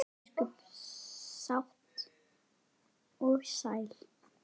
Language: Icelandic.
Ósköp sátt og sæl.